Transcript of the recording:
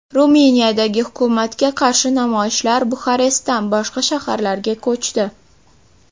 Ruminiyadagi hukumatga qarshi namoyishlar Buxarestdan boshqa shaharlarga ko‘chdi.